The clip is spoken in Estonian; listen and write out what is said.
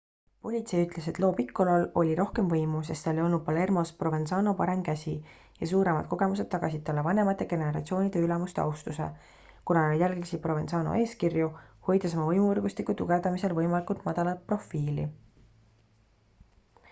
politsei ütles et lo piccolo'l oli rohkem võimu sest ta oli olnud palermos provenzano parem käsi ja suuremad kogemused tagasid talle vanemate generatsioonide ülemuste austuse kuna nad jälgisid provenzano eeskirju hoides oma võimuvõrgustiku tugevdamisel võimalikult madalat profiili